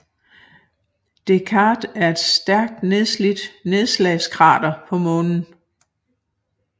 Descartes er et stærkt nedslidt nedslagskrater på Månen